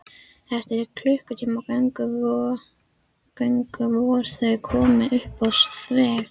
Eftir klukkutíma göngu voru þau komin upp á þjóðveg.